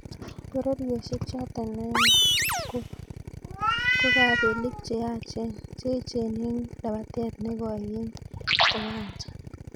Pororosiek choto aeng kokapelik che echen eng' lapatet nekoi eng' kowanja.